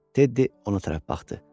Teddi ona tərəf baxdı.